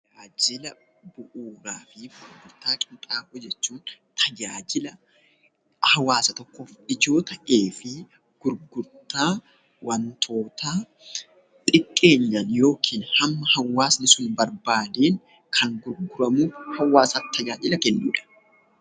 Tajaajila bu'uuraa fi gurgurtaa qinxaamoo jechuun tajaajila hawaasa tokkoof ijoo ta'ee fi gurgurtaa wantootaa xiqqeenyaan yookiin hamma hawaasni sun barbaadeen kan gurguramu hawaasaaf tajaajila kennuudha.